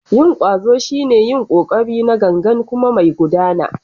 Yin ƙwazo shine yin ƙoƙari na gangan kuma mai gudana.